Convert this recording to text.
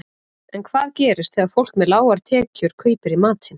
En hvað gerist þegar fólk með lágar tekjur kaupir í matinn?